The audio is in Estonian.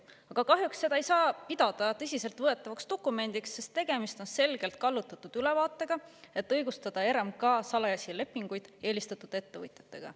Aga kahjuks seda ei saa pidada tõsiselt võetavaks dokumendiks, sest tegemist on selgelt kallutatud ülevaatega, et õigustada RMK salajasi lepinguid eelistatud ettevõtjatega.